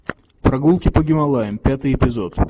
прогулки по гималаям пятый эпизод